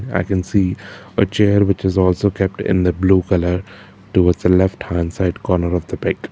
i can see a chair which is also kept in the blue colour towards a left hand side corner of the pic.